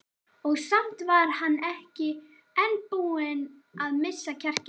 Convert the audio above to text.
Og samt var hann enn ekki búinn að missa kjarkinn.